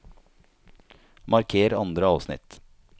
Marker andre avsnitt